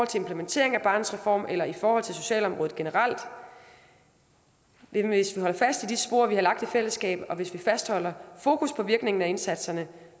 til implementering af barnets reform eller i forhold til socialområdet generelt men hvis vi holder fast i de spor vi har lagt i fællesskab og hvis vi fastholder fokus på virkningen af indsatserne